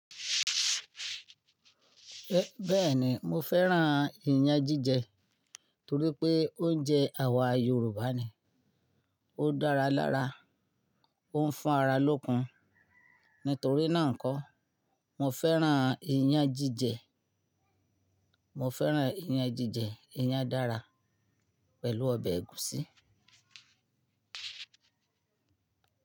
Bẹ́ẹ̀ni, mo fẹ́ràn ìyàn jíjẹ torí pé oúnjẹ àwa Yorùbá ni. Ó dára lára, ó ń fún ara lókun. Nítorí náà kó, mo fẹ́ràn ìyàn jíjẹ. Mo fẹ́ràn ìyàn jíjẹ, ìyàn dára pẹ̀lú ọbẹ̀ ẹ̀gúsí.